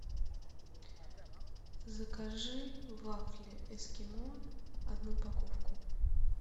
закажи вафли эскимо одну упаковку